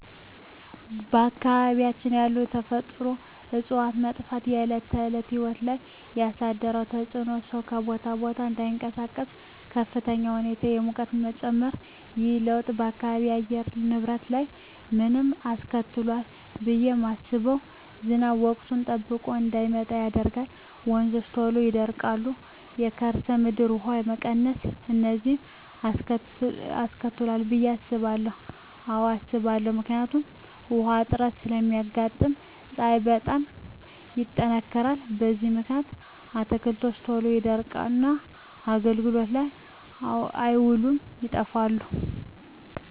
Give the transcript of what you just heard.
በአካባቢያችን ያሉ የተፈጥሮ እፅዋት መጥፋት በዕለት ተዕለት ሕይወት ላይ ያሣደረው ተፅኖ ሠው ከቦታ ቦታ እዳይንቀሣቀስ፤ በከፍተኛ ሁኔታ የሙቀት መጨመር። ይህ ለውጥ በአካባቢው የአየር ንብረት ላይ ምን አስከትሏል ብየ ማስበው። ዝናብ ወቅቱን ጠብቆ እዳይመጣ ያደርጋል፤ ወንዞች ቶሎ ይደርቃሉ፤ የከርሠ ምድር ውሀ መቀነስ፤ እነዚን አስከትሏል ብየ አስባለሁ። አዎ አስባለሁ። ምክንያቱም ውሀ እጥረት ስለሚያጋጥም፤ ፀሀይ በጣም ይጠነክራል። በዚህ ምክንያት አትክልቶች ቶሎ ይደርቁና አገልግሎት ላይ አይውሉም ይጠፋሉ።